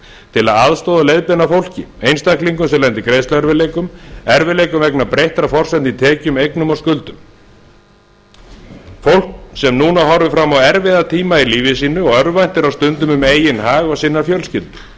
til að aðstoða og leiðbeina fólki einstaklingum sem lenda í greiðsluerfiðleikum erfiðleikum vegna breyttra forsendna í tekjum eignum og skuldum fólk sem núna horfir fram á erfiða tíma í lífi sínu og örvæntir á stundum um eigin hag og sinnar fjölskyldu það